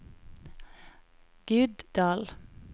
Guddal